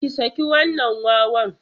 Ki saki wannan wawan!